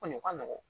Kɔni o ka nɔgɔn